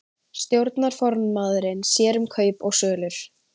Stjórnarformaðurinn sér um kaup og sölur